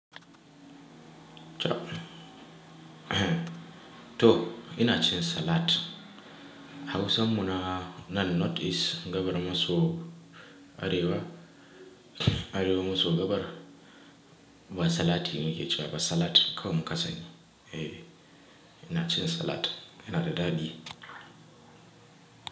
To ina cin salad. Hausa muna nan North East, gabar maso Arewa, Arewa maso gabar. Ba salati muke cewa ba salad. Kawai mu kasani. Eh ina cin salad, yana da daɗi.